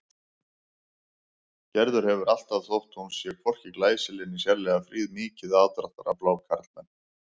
Gerður hefur alltaf, þótt hún sé hvorki glæsileg né sérlega fríð, mikið aðdráttarafl á karlmenn.